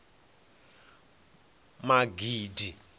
magidi